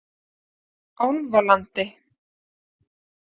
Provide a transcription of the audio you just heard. Álfalandi